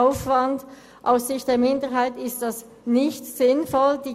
Aus Sicht der Minderheit ist das nicht sinnvoll.